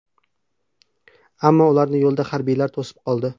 Ammo ularni yo‘lda harbiylar to‘sib qoldi.